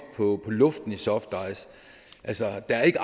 på luften i softice altså der er ikke